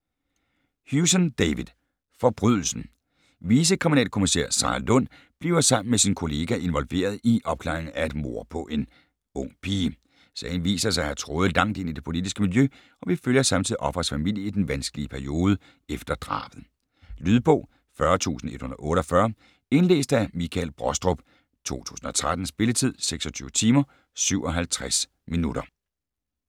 Hewson, David: Forbrydelsen Vicekriminalkommisær Sarah Lund bliver sammen med sin kollega involveret i opklaringen af et mord på en ung pige. Sagen viser sig at have tråde langt ind i det politiske miljø, og vi følger samtidig offerets familie i den vanskelige periode efter drabet. Lydbog 40148 Indlæst af Michael Brostrup, 2013. Spilletid: 26 timer, 57 minutter.